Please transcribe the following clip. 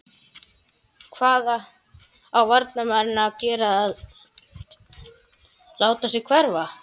Hvað á varnarmaðurinn að gera láta sig hverfa?